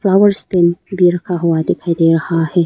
और भी रखा हुआ दिखाई दे रहा है।